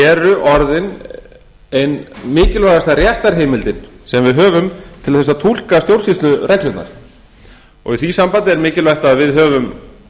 eru orðin ein mikilvægasta réttarheimildin sem við höfum til að túlka stjórnsýslureglurnar í því sambandi er mikilvægt að við höfum